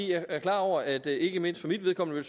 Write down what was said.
jeg er klar over at det ikke mindst for mit vedkommende